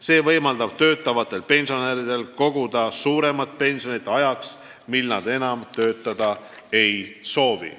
See võimaldab töötavatel pensionäridel koguda suuremat pensioni ajaks, mil nad enam töötada ei soovi.